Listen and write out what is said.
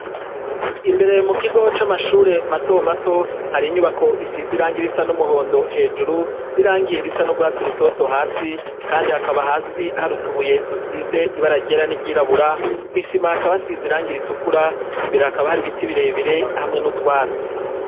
Imbere mu kigo c'amashure mato mato hari inyubako isize irangi risa n'umuhondo hejuru n'irangiye risa n'urwatsi rutoto hasi kandi hakaba hasi harutubuye dusize ibara ryera n'iryirabura kwisima hakaba hasize irangira ritukura imbere hakaba hari ibiti birebire hamwe n'utwatsi.